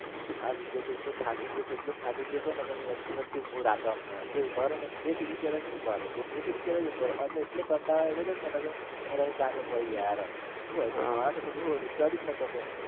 આ વિજય એટલો થાકી ગયો હતો એટલો થાકી ગયો હતો ને કે વચ્ચે વચ્ચે ઉભો રાખે અમને કહે ઉભા રહો ને બે સીડી ચડે ને ઉભા રહો બે સીડી ચડે ને ઉભા રહો અમે એટલો કંટાલો આવી ગયો હતો ને કે મને તો હુ કીધુ ભાઈ યાર શુ ચડી જ ના શકે